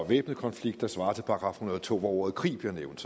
væbnet konflikt der svarer til § en hundrede og to hvor ordet krig bliver nævnt